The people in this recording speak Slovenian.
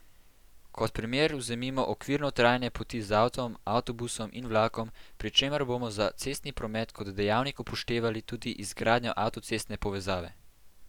Kot primer vzemimo okvirno trajanje poti z avtom, avtobusom in vlakom, pri čemer bomo za cestni promet kot dejavnik upoštevali tudi izgradnjo avtocestne povezave.